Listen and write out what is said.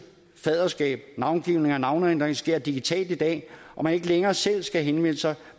fadderskab navngivning og navneændring sker digitalt i dag og man ikke længere selv skal henvende sig